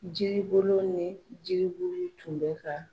Jiribolo ni jiribulu tun bɛ ka